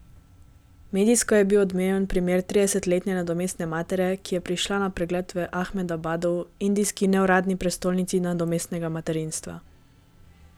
Medijsko je bil odmeven primer tridesetletne nadomestne matere, ki je prišla na pregled v Ahmedabadu, indijski neuradni prestolnici nadomestnega materinstva.